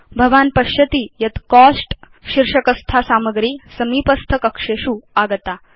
भवान् पश्यति यत् कोस्ट शीर्षकस्था सामग्री समीपस्थ कक्षेषु आगता